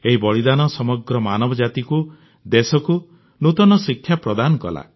ଏହି ବଳିଦାନ ସମଗ୍ର ମାନବ ଜାତିକୁ ଦେଶକୁ ନୂତନ ଶିକ୍ଷା ପ୍ରଦାନ କଲା